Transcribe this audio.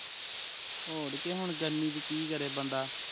ਹੋਰ ਕਿ ਹੁਣ ਗਰਮੀ ਚ ਕੀ ਕਰੇ ਬੰਦਾ